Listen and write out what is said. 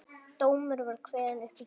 Dómur var kveðinn upp í gær